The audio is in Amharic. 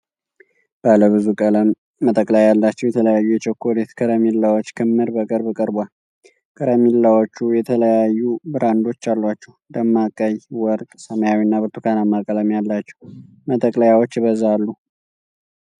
ባለ ብዙ ቀለም መጠቅለያ ያላቸው የተለያዩ የቸኮሌት ከረሜላዎች ክምር በቅርብ ቀርቧል። ከረሜላዎቹ የተለያዩ ብራንዶች አሏቸው። ደማቅ ቀይ፣ ወርቅ፣ ሰማያዊና ብርቱካናማ ቀለም ያላቸው መጠቅለያዎች ይበዛሉ።